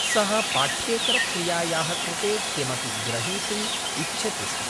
सः पाठ्येतरक्रियायाः कृते किमपि ग्रहीतुम् इच्छति स्म।